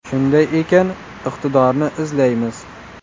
Shunday ekan, iqtidorni izlaymiz.